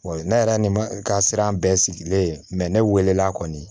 Wa ne yɛrɛ ni ma ka siran bɛɛ sigilen ne welela kɔni